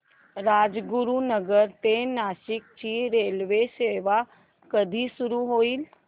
राजगुरूनगर ते नाशिक ची रेल्वेसेवा कधी सुरू होईल